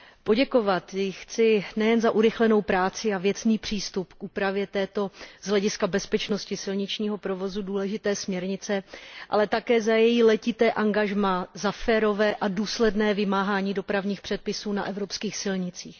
Poděkovat jí chci nejen za urychlenou práci a věcný přístup k úpravě této z hlediska bezpečnosti silničního provozu důležité směrnice, ale také za její letité angažmá, za férové a důsledné vymáhání dopravních předpisů na evropských silnicích.